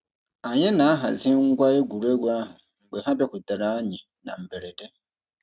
Anyị na-ahazi ngwa egwuregwu ahụ mgbe ha bịakwutere anyị na mberede.